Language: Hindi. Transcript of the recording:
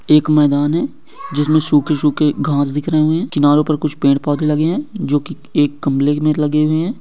एक मैदान है जिसमें सूखे-सूखे घास दिख रहे हैं। किनारों पर कुछ पेड़ पौधे लगे हैं जो कि एक गमले में लगे हुए है।